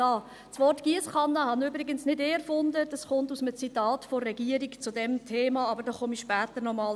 Das Wort Giesskanne habe übrigens nicht ich erfunden, es stammt aus einem Zitat der Regierung zu diesem Thema, aber dazu komme ich später noch einmal.